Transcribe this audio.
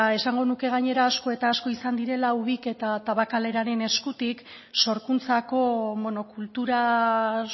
esango nuke gainera asko eta asko izan direla ubik eta tabakaleraren eskutik sorkuntzako monokultura